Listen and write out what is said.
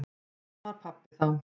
Þarna var pabbi þá.